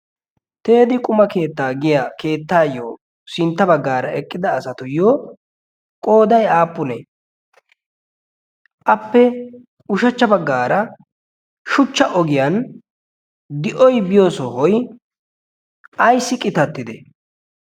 teedi quma keettaa giya keettaayyo sintta baggaara eqqida asatuyyo qoodai aappunee? appe ushachcha baggaara shuchcha ogiyan di7oi biyo sohoi aissi qitattide?